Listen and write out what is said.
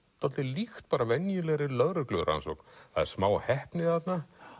dálítið líkt bara venjulegri lögreglurannsókn það er smá heppni þarna